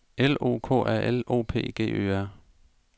L O K A L O P G Ø R